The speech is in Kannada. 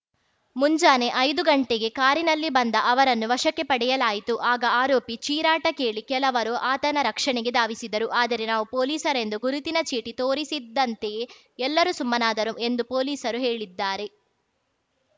ಮುಂಜಾನೆ ಐದು ಗಂಟೆಗೆ ಕಾರಿನಲ್ಲಿ ಬಂದ ಅವರನ್ನು ವಶಕ್ಕೆ ಪಡೆಯಲಾಯಿತು ಆಗ ಆರೋಪಿ ಚೀರಾಟ ಕೇಳಿ ಕೆಲವರು ಆತನ ರಕ್ಷಣೆಗೆ ಧಾವಿಸಿದರು ಆದರೆ ನಾವು ಪೊಲೀಸರೆಂದು ಗುರುತಿನ ಚೀಟಿ ತೋರಿಸಿದ್ದಂತೆಯೇ ಎಲ್ಲರೂ ಸುಮ್ಮನಾದರು ಎಂದು ಪೊಲೀಸರು ಹೇಳಿದ್ದಾರೆ